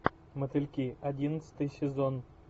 мотыльки одиннадцатый сезон